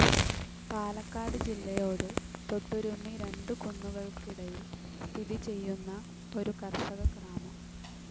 പാലക്കാട് ജില്ലയോട് തൊട്ടുരുമ്മി രണ്ടു കുന്നുകൾക്കിടയിൽ സ്ഥിതി ചെയ്യുന്ന ഒരു കർഷക ഗ്രാമം.